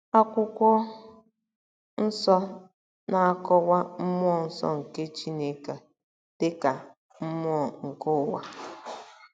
Akwụkwọ Nsọ na-akọwa mmụọ nsọ nke Chineke a dị ka “mmụọ nke ụwa.”